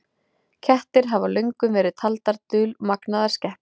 Kettir hafa löngum verið taldar dulmagnaðar skepnur.